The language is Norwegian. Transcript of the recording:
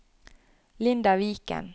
Linda Viken